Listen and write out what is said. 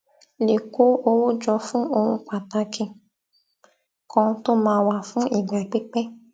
lè kó owó jọ fún ohun pàtàkì kan tó máa wà fún ìgbà pípé